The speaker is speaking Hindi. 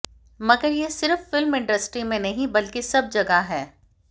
मगर यह सिर्फ फिल्म इंडस्ट्री में नहीं बल्कि सब जगह है